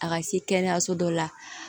A ka se kɛnɛyaso dɔ la